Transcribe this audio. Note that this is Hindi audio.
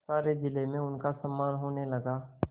सारे जिले में उनका सम्मान होने लगा